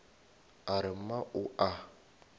a re mma o a